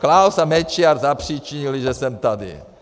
Klaus a Mečiar zapříčinili, že jsem tady.